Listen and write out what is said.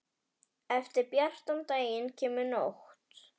Eftir bjartan daginn kemur nótt.